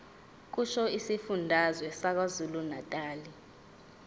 kusho isifundazwe sakwazulunatali